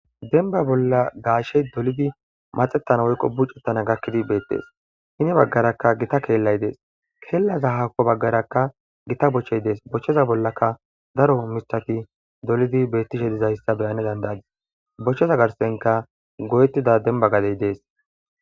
Demba bolla gashshe dolidi madhetanaw woyiko buc'etanaw gakidi beetes. Hini bagaraka gita kelay de'es. Kelazo hako bagaraka gita boche de'es. Bocheza bolaka daroba miththati dolidi betishe dizaysa be'ana danda'yis. Bocheza garsanika goetida demba gade de'es.